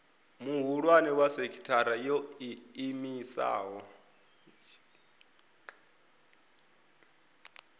muhulwane wa sekithara yo iimisaho